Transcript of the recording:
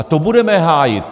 A to budeme hájit!